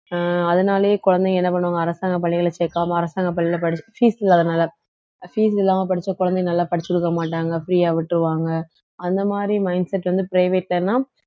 அஹ் அதனாலேயே குழந்தைங்க என்ன பண்ணுவாங்க அரசாங்க பள்ளியில சேர்க்காம அரசாங்க பள்ளியில படிச்~ fees இல்லாததுனால fees இல்லாம படிச்ச குழந்தைங்க நல்லா படிச்சிருக்க மாட்டாங்க free ஆ விட்டுருவாங்க அந்த மாதிரி mindset வந்து private ல எல்லாம்